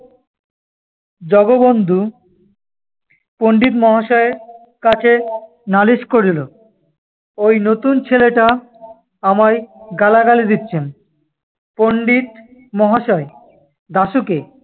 জগবন্ধু পণ্ডিত মহাশয়ের কাছে নালিশ করিল, ঐ নতুন ছেলেটা আমায় গালাগালি দিচ্ছেন। পণ্ডিত মহাশয় দাশুকে